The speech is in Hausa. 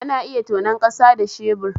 Ana iya tonon kasa da shebur